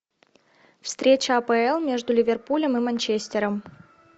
встреча апл между ливерпулем и манчестером